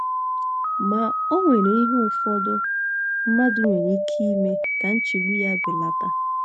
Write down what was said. Ma, o nwere ihe ụfọdụ mmadụ nwere ike ime ka nchegbu ya belata.